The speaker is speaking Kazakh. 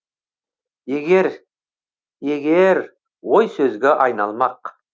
егер егер ой сөзге айналмақ